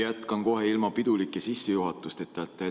Jätkan kohe ilma piduliku sissejuhatuseta.